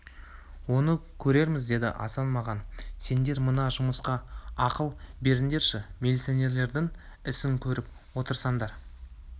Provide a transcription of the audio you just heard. оны көрерміз деді асан маған сендер мына жұмысқа ақыл беріңдерші милиционерлердің ісін көріп отырсыңдар